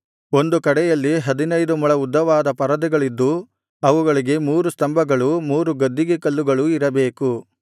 ಒಂದು ಕಡೆಯಲ್ಲಿ ಹದಿನೈದು ಮೊಳ ಉದ್ದವಾದ ಪರದೆಗಳಿದ್ದು ಅವುಗಳಿಗೆ ಮೂರು ಸ್ತಂಭಗಳೂ ಮೂರು ಗದ್ದಿಗೆ ಕಲ್ಲುಗಳು ಇರಬೇಕು